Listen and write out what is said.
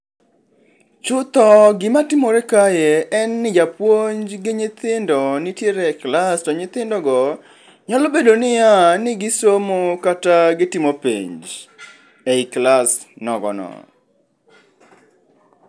Chutho gima timore kae en ni japuonj gi nyihindo nitiere e klas to nyithindo go nyalo bedo nia ni gisomo kata gitimo penj ei klas nogo no